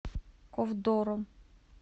ковдором